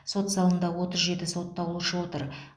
сот залында отыз жеті сотталушы отыр